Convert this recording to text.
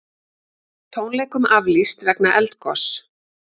Tónleikum aflýst vegna eldgoss